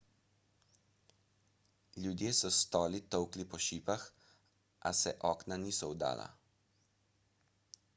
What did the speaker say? ljudje so s stoli tolkli po šipah a se okna niso vdala